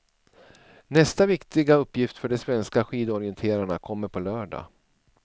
Nästa viktiga uppgift för de svenska skidorienterarna kommer på lördag.